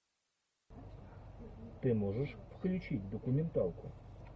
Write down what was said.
ты можешь включить документалку